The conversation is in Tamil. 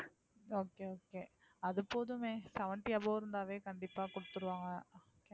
okay, okay அது போதுமே seventy above இருந்தாவே கண்டிப்பா கொடுத்துடுவாங்க.